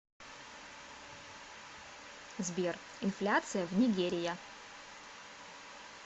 сбер инфляция в нигерия